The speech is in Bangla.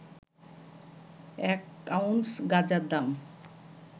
এক আউন্স গাঁজার দাম